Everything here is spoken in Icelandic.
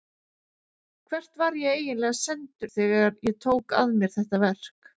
Hvert var ég eiginlega sendur þegar ég tók að mér þetta verk?